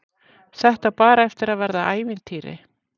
Þetta á bara eftir að verða ævintýri.